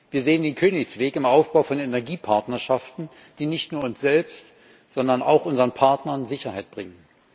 Wir sehen den Königsweg im Aufbau von Energiepartnerschaften, die nicht nur uns selbst, sondern auch unseren Partnern Sicherheit bringen.